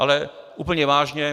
Ale úplně vážně.